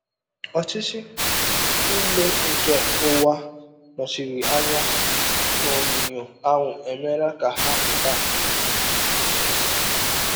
Ọchịchị niile nke ụwa nọchiri anya n’onyinyo ahụ emeela ka ha pụta ìhè.